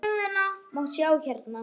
Stöðuna má sjá hérna.